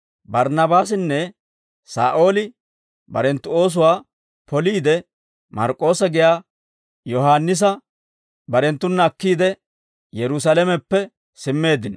Barnnaabaasinne Saa'ooli barenttu oosuwaa poliide, Mark'k'oossa giyaa Yohaannisa barenttuna akkiide, Yerusaalameppe simmeeddino.